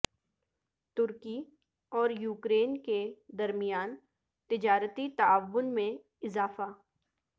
ترکی اور یوکرین کے درمیان تجارتی تعاون میں اضافہ